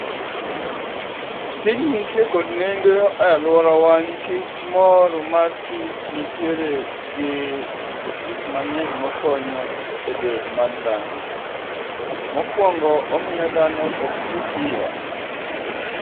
Tijni nitie kod nengo e alwora wa nikech mor mar kich nitiere gi gik mang'eny mokonyo e del mar dhano. Mokuongo, omiyo dhano oktii piyo.